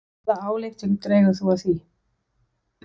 Hvaða ályktun dregur þú af því?